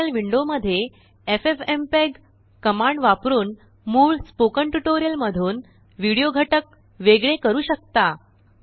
terminal window मध्येffmpeg command वापरूनमूळ spoken tutorial मधूनविडियो घटक वेगळे करू शकता